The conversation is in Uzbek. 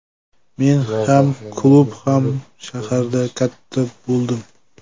Men ham klub, ham shaharda katta bo‘ldim.